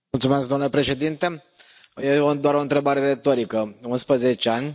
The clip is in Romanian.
Domnule președinte, e doar o întrebare retorică 11 ani?